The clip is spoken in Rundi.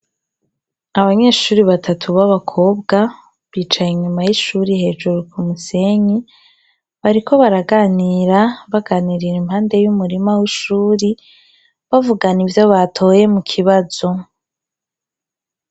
Abanyeshure batatu babakobwa bicaye inyuma yishure hejuru kumusenyi. Bariko baraganira bagananirira impande y'umurima w'ishure bavugana ivyo batoye mukibazo.